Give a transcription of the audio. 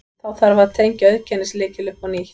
Þá þarf að tengja auðkennislykil upp á nýtt.